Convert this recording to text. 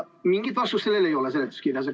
Mingit vastust sellele seletuskirjas ei ole.